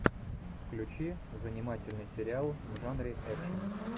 включи занимательный сериал в жанре экшн